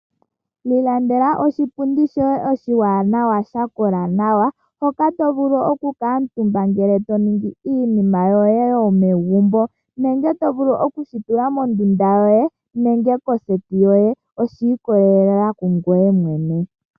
Ilandela oshipundi shoye oshi wanawa sha kola nawa hoka to vulu oku kamutumba ngele to ningi iinima yoye yomegumbo ,nenge to vulu oku oshi tula mondunda yoye nenge koseti yoye oshi ikolelela kungweye mwene.